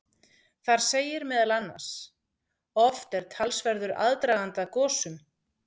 Þar segir meðal annars: Oft er talsverður aðdragandi að gosum.